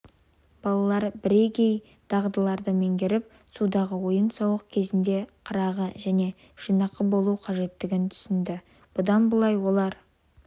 балалар бірегей дағдыларды меңгеріп судағы ойын-сауық кезінде қырағы және жинақы болу қажеттігін түсінді бұдан былай олар